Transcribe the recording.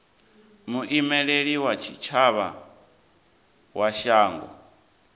muimeli wa tshitshavha wa shango